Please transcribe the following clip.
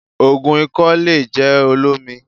Ògùn ikọ́ le jẹ́ olómi